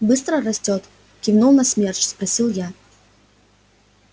быстро растёт кивнув на смерч спросил я